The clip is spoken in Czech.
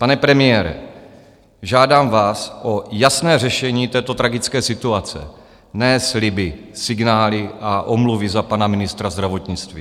Pane premiére, žádám vás o jasné řešení této tragické situace, ne sliby, signály a omluvy za pana ministra zdravotnictví.